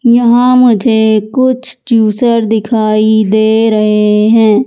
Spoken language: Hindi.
यहां मुझे कुछ जूसर दिखाई दे रहे हैं।